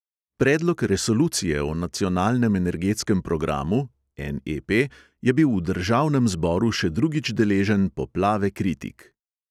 Predlog resolucije o nacionalnem energetskem programu je bil v državnem zboru še drugič deležen poplave kritik.